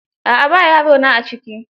A'a ba yarona a ciki.